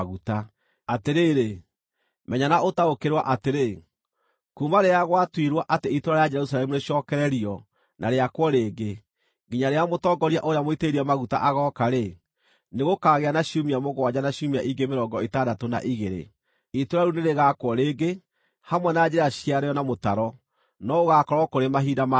“Atĩrĩrĩ, menya na ũtaũkĩrwo atĩrĩ, ‘Kuuma rĩrĩa gwatuirwo atĩ itũũra rĩa Jerusalemu rĩcookererio na rĩakwo rĩngĩ, nginya rĩrĩa mũtongoria ũrĩa Mũitĩrĩrie Maguta agooka-rĩ, nĩgũkagĩa na ciumia mũgwanja na ciumia ingĩ mĩrongo ĩtandatũ na igĩrĩ. Itũũra rĩu nĩrĩgaakwo rĩngĩ, hamwe na njĩra ciarĩo na mũtaro, no gũgaakorwo kũrĩ mahinda ma thĩĩna.